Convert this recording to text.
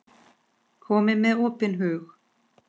Komið með opinn hug.